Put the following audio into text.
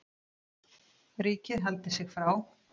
Ríkið haldi sig frá